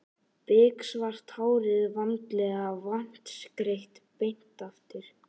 Biksvart hárið vandlega vatnsgreitt beint aftur.